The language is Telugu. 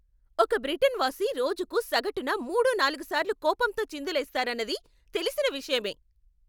ఒక బ్రిటన్ వాసి రోజుకు సగటున మూడు, నాలుగు సార్లు కోపంతో చిందులేస్తారన్నది తెలిసిన విషయమే.